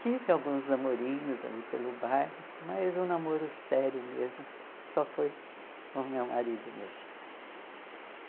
Tive alguns namorinhos ali pelo bairro, mas um namoro sério mesmo, só foi com o meu marido mesmo.